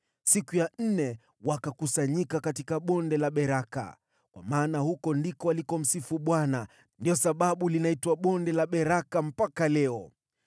Siku ya nne wakakusanyika katika Bonde la Beraka kwa maana huko ndiko walikomsifu Bwana . Ndiyo sababu linaitwa Bonde la Beraka mpaka leo.